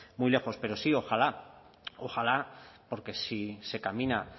muy lejos pero sí ojalá ojalá porque si se camina